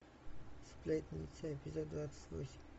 сплетница эпизод двадцать восемь